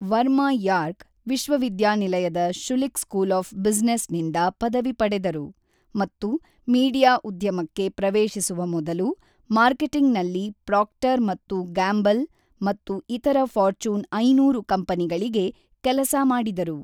Verma York ವಿಶ್ವವಿದ್ಯಾನಿಲಯದ Schulich school of ಬ್ಯುಸಿನೆಸ್‌ನಿಂದ ಪದವಿ ಪಡೆದರು ಮತ್ತು ಮೀಡಿಯಾ ಉದ್ಯಮಕ್ಕೆ ಪ್ರವೇಶಿಸುವ ಮೊದಲು ಮಾರ್ಕೆಟಿಂಗ್‌ನಲ್ಲಿ ಪ್ರಾಕ್ಟರ್ ಮತ್ತು ಗ್ಯಾಂಬಲ್ ಮತ್ತು ಇತರ ಫಾರ್ಚೂನ್ ಐನೂರು ಕಂಪನಿಗಳಿಗೆ ಕೆಲಸ ಮಾಡಿದರು.